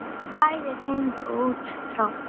Hann átti ýmsu ólokið.